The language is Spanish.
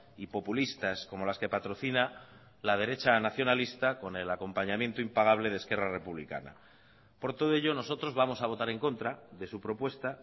y populistas como las que patrocina la derecha nacionalista con el acompañamiento impagable de esquerra republicana por todo ello nosotros vamos a votar en contra de su propuesta